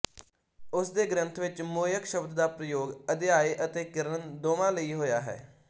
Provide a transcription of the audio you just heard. ਉਸਦੇ ਗ੍ਰੰਥ ਵਿੱਚ ਮੁਯਖ ਸ਼ਬਦ ਦਾ ਪ੍ਰਯੋਗ ਆਧਿਆਏ ਅਤੇ ਕਿਰਨ ਦੋਵਾਂ ਲਈ ਹੋਇਆ ਹੈ